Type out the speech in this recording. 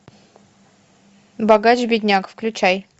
богач бедняк включай